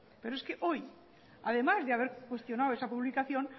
pero es que hoy además de haber cuestionado esa publicación